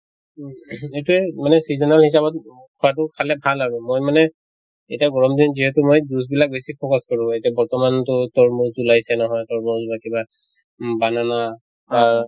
ও ing এইটোয়ে মানে seasonal হিচাপত খোৱাতো খালে ভাল আৰু। মই মানে এতিয়া গৰম দিন যিহেতু মই juice বিলাক বেছি focus কৰোঁ । এতিয়া বৰ্তমান টো তৰ্মুজ ওলাইছে নহয় বা কিবা উম banana আহ